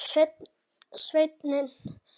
Sveinn Pálsson